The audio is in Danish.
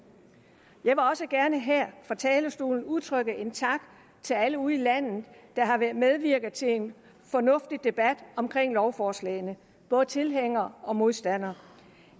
jeg vil også gerne her fra talerstolen udtrykke en tak til alle ude i landet der har været medvirkende til en fornuftig debat om lovforslagene både tilhængere og modstandere